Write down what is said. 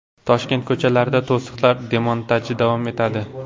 Toshkent ko‘chalarida to‘siqlar demontaji davom etadi.